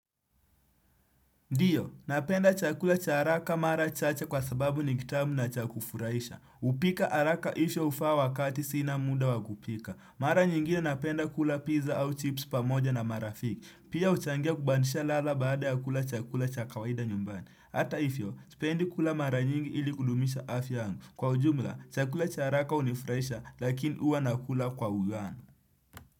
Ndiyo, napenda chakula cha haraka mara chache kwa sababu ni kitamu na chakufuraisha. Upika haraka isho ufaa wakati sina muda wakupika. Mara nyingine napenda kula pizza au chips pamoja na mara fiki. Pia uchangia kubandisha lala baada ya kula chakula cha kawaida nyumbani. Hata ifyo, spendi kula mara nyingi ili kudumisha afyangu. Kwa ujumla, chakula cha haraka unifuraisha lakini uwa nakula kwa ugali.